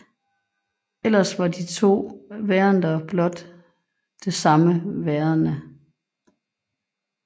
Ellers var de to værender blot det samme værende